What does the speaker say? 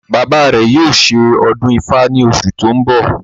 Bàbá rẹ̀ yóò ṣe ọdún ifá ní oṣù tí ó ń bọ̀